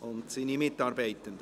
sowie seine Mitarbeitenden.